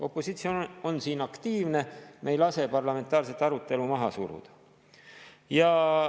Opositsioon on siin aktiivne, me ei lase parlamentaarset arutelu maha suruda.